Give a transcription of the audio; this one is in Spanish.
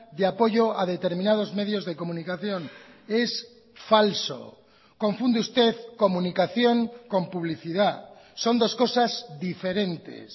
de apoyo a determinados medios de comunicación es falso confunde usted comunicación con publicidad son dos cosas diferentes